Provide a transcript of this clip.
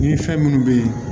Ni fɛn minnu bɛ yen